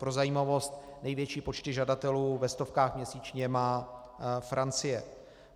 Pro zajímavost, největší počty žadatelů ve stovkách měsíčně má Francie.